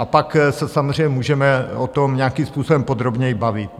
A pak se samozřejmě můžeme o tom nějakým způsobem podrobněji bavit.